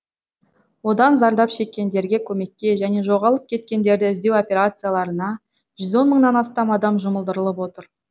одан зардап шеккендерге көмекке және жоғалып кеткендерді іздеу операцияларына жүз он мыңнан астам адам жұмылдырылып отыр